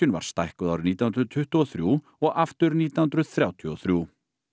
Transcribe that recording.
var stækkuð árið nítján hundruð tuttugu og þrjú og aftur nítján hundruð þrjátíu og þrjú